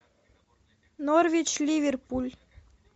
норвич ливерпуль